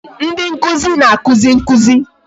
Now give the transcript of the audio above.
Ndị nkụzi na-akụzi nkụzi